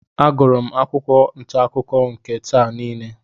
Agụrụ m akwụkwọ ntaakụkọ nke taa n'ehihie.